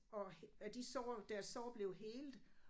Og og de så deres så blev helet